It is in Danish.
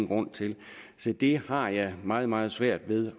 grund til det har jeg meget meget svært ved